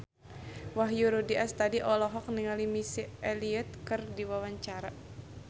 Wahyu Rudi Astadi olohok ningali Missy Elliott keur diwawancara